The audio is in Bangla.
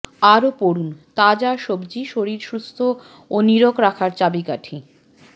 আরও পড়ুন তাজা সবজি শরীর সুস্থ ও নীরোগ রাখার চাবিকাঠি